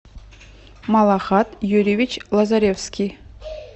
малахат юрьевич лазаревский